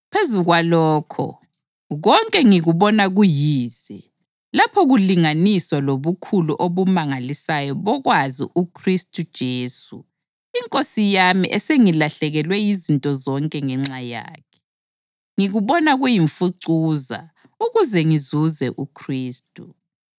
Phezu kwalokho, konke ngikubona kuyize lapho kulinganiswa lobukhulu obumangalisayo bokwazi uKhristu Jesu iNkosi yami esengilahlekelwe yizinto zonke ngenxa yakhe. Ngikubona kuyimfucuza ukuze ngizuze uKhristu